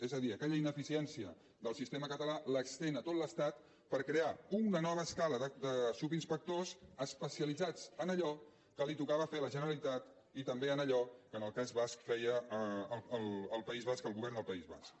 és a dir aquella ineficiència del sistema català l’estén a tot l’estat per crear una nova escala de subinspectors especia litzats en allò que tocava fer a la generalitat i també en allò que en el cas basc feia el govern del país basc